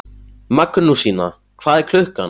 Magnúsína, hvað er klukkan?